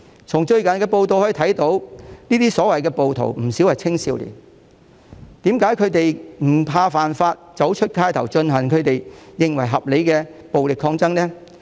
從最近的報道可見，這些所謂的暴徒不少是青少年，為何他們會不怕犯法，走上街頭進行他們認為合理的暴力抗爭呢？